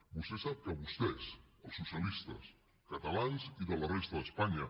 vostè sap que vostès els socialistes catalans i de la resta d’espanya